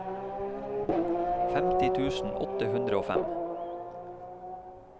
femti tusen åtte hundre og fem